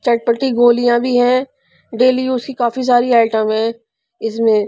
चटपटी गोलियां भी हैं डेली यूज की काफी सारी आइटम है इसमें--